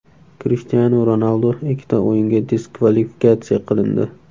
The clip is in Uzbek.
Krishtianu Ronaldu ikkita o‘yinga diskvalifikatsiya qilindi.